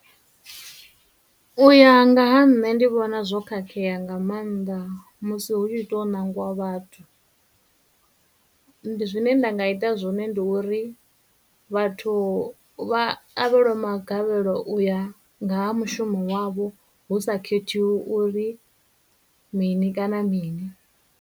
U ya nga ha nṋe ndi vhona zwo khakhea nga maanḓa musi hu tshi tou ṋangiwa vhathu, zwine nda nga ita zwone ndi uri vhathu vha avhelwe magavhelo uya nga ha mushumo wavho hu sa khethiwi uri mini kana mini.